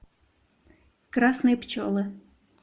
красные пчелы